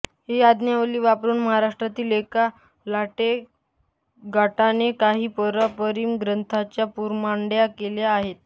ही आज्ञावली वापरून महाराष्ट्रातील एका लाटेक् गटाने काही पारंपारिक ग्रंथांच्या पुनर्मांडण्या केल्या आहेत